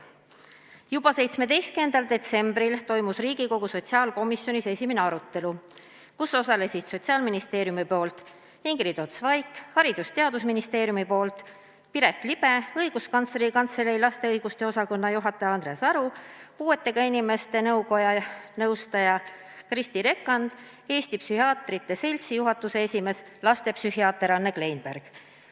Juba 17. detsembril toimus Riigikogu sotsiaalkomisjonis esimene arutelu, kus osalesid Sotsiaalministeeriumi esindaja Ingrid Ots-Vaik, Haridus- ja Teadusministeeriumi esindaja Piret Liba, Õiguskantsleri Kantselei laste õiguste osakonna juhataja Andres Aru, Eesti Puuetega Inimeste Koja nõustaja Kristi Rekand ning Eesti Psühhiaatrite Seltsi juhatuse esimees, lastepsühhiaater Anne Kleinberg.